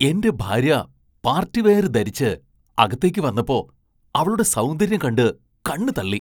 എന്റെ ഭാര്യ പാർട്ടിവെയർ ധരിച്ച് അകത്തേക്ക് വന്നപ്പോ , അവളുടെ സൗന്ദര്യം കണ്ട് കണ്ണു തള്ളി.